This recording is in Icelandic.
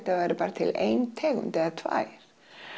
það væri bara til ein tegund eða tvær